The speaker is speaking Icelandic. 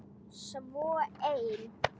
Svo ein.